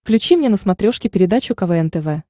включи мне на смотрешке передачу квн тв